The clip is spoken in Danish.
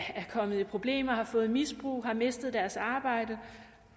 kommet i problemer har fået et misbrug eller har mistet deres arbejde